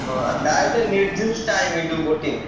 ହଁ ତାର ଗୋଟେ ନିଦ୍ଧିଷ୍ଟ time କିନ୍ତୁ boating ର।